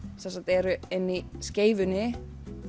eru inni í Skeifunni